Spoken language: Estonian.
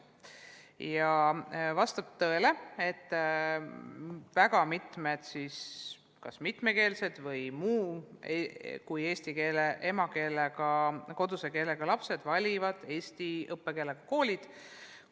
Ja vastab tõele, et väga paljud kas mitmekeelsed või eesti keelest erineva emakeele või koduse keelega lapsed valivad eesti õppekeelega kooli.